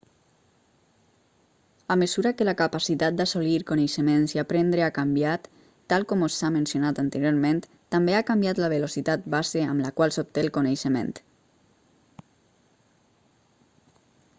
a mesura que la capacitat d'assolir coneixements i aprendre ha canviat tal com s'ha mencionat anteriorment també ha canviat la velocitat base amb la qual s'obté el coneixement